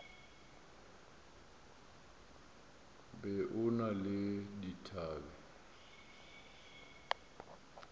be o na le dithabe